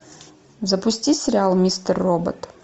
запусти сериал мистер робот